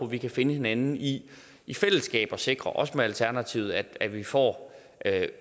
vi kan finde hinanden i i fællesskab og sikre også med alternativet at vi får